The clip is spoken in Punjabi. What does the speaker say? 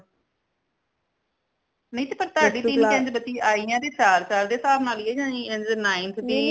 ਨਈ ਤੇ ਪਰ ਤਾੜੀ ਤੀਨ ਕਿਦਾ ਬਚੀ ਆਇਆ ਤੇ ਚਾਰ ਚਾਰ ਦੇ ਹਿਸਾਬ ਨਾਲ ਹੀ ਹੈ ninth ਦੀ।